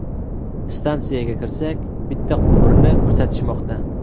Stansiyaga kirsak, bitta quvurni ko‘rsatishmoqda.